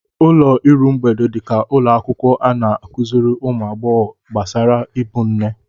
Ụlọ iru mgbede dị ka ụlọ akwụkwọ a na-akụziri ụmụ agbọghọ gbasara ịbụ nne.